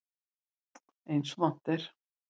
Eins og vant er.